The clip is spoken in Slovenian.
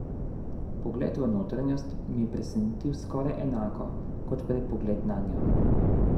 Pogled v notranjost me je presenetil skoraj enako kot prej pogled nanjo.